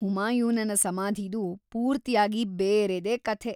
ಹುಮಾಯೂನನ ಸಮಾಧಿದು ಪೂರ್ತಿಯಾಗಿ ಬೇರೆದೇ ಕಥೆ.